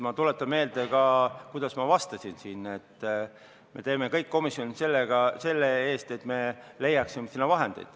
Ma tuletan meelde, kuidas ma siin vastasin: me teeme kõik komisjonis selle heaks, et me leiaksime sinna vahendeid.